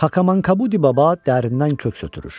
Xakamankabudi Baba dərindən köks ötürür.